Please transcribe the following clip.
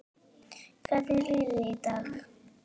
Hvernig líður þér í dag?